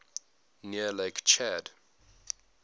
near lake chad